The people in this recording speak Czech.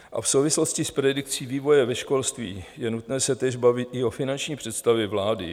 A v souvislosti s predikcí vývoje ve školství je nutné se též bavit i o finanční představě vlády.